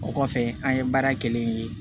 O kɔfɛ an ye baara kelen ye